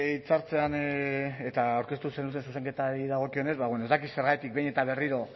hitzartzean eta aurkeztu zenuten zuzenketari dagokionez ez dakit zergatik behin eta berriro